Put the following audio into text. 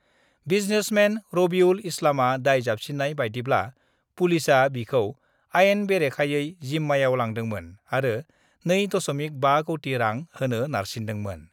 Businessmen Rabiul इस्लामआ दाय जाबसिननाय बायदिब्ला, पुलिसआ बिखौ आइन बेरेखाये जिम्मायाव लादोंमोन आरो 2.5 कौटि रां होनो नारसिन्दोंमोन।